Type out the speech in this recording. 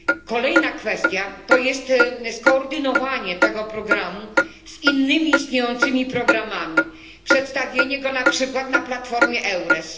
Kolejna kwestia to skoordynowanie tego programu z innymi istniejącymi programami, przedstawienie go na przykład na platformie EURES.